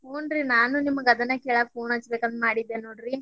ಹುನ್ರಿ ನಾನು ನಿಮ್ಗ ಅದನ್ನ ಕೇಳಾಕ phone ಹಚ್ಬೇಕಂತ ಮಾಡಿದ್ದೆ ನೋಡ್ರಿ.